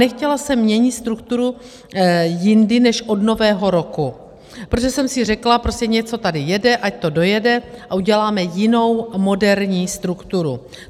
Nechtěla jsem měnit strukturu jindy než od Nového roku, protože jsem si řekla, prostě něco tady jede, ať to dojede a uděláme jinou, moderní strukturu.